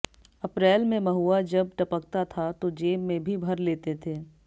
अप्रैल में महुआ जब टपकता था तो जेब में भी भर लेते थे